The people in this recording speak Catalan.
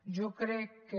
jo crec que